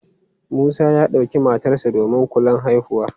Musa ya ɗauki matarsa ​​domin kulan haihuwa.